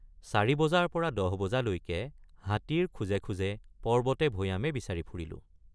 চাৰি বজাৰপৰা দহবজালৈকে হাতীৰ খোজে খোজে পৰ্বতেভৈয়ামে বিচাৰি ফুৰিলোঁ।